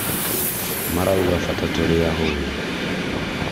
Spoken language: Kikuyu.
marauga bata tũrĩ ahũnũ